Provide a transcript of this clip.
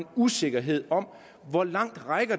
usikkerhed om hvor langt